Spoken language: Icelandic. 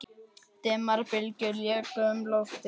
Dimmar bylgjur léku um loftið.